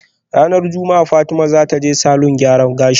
Ranar juma'a Fatima zataje salon gyaran gashi